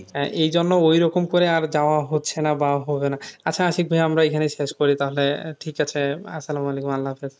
হ্যাঁ এই জন্য ঐরকম করে আর যাওয়া হচ্ছে না বা হবে না আচ্ছা আশিক ভাইয়া আমরা এখানেই শেষ করি তাহলে ঠিক আছে আসসালাম আলাইকুম আল্লাহাফিজ